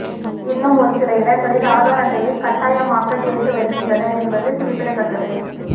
இன்னும் ஒரு சில இடங்களில் ஆதார் அட்டையை கட்டாயமாக்க கேட்டு வருகின்றனர் என்பது குறிப்பிடத்தக்கது